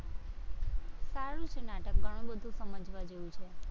સારું છે નાટક ઘણું બધું સમજવા જેવું છે.